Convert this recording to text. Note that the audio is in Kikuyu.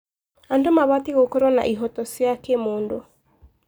Andũ mabatiĩ gũkorwo na ihooto cia kĩmũndũ.